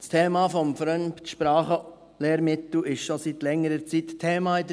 Das Thema des Fremdsprachenlehrmittels ist schon seit längerer Zeit Thema in